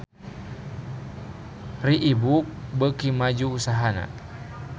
Reebook beuki maju usahana